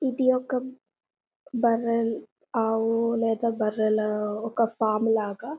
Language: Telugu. ఇది ఒక బరాల ఆవు లేక బరాలు ఒక ఫార్మ్ లాగా